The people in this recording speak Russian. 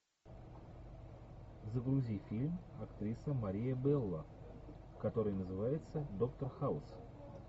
загрузи фильм актриса мария белла который называется доктор хаус